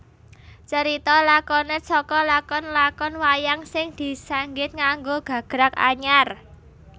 Carita lakonet saka lakon lakon wayang sing disanggit nganggo gagrag anyar